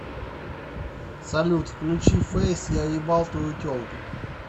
салют включи фэйс я ебал твою телку